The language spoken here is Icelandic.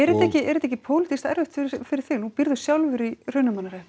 og er þetta ekki pólitískt erfitt fyrir þig nú býrðu sjálfur í Hrunamannahreppi